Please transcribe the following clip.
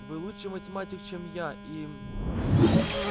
вы лучший математик чем я и